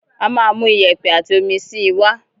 Á máa mú iyẹ̀pẹ̀ àti omi síi wá.